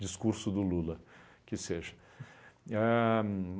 Discurso do Lula, que seja. Ahn